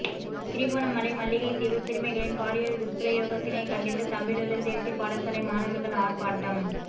திருகோணமலை மல்லிகைத்தீவு சிறுமிகளின் பாலியல் துஷ்ப்பிரயோகத்தினை கண்டித்து தம்பிலுவில் தேசிய பாடசாலை மாணவர்கள் ஆரப்பாட்டம்